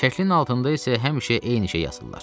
Şəklin altında isə həmişə eyni şey yazırlar.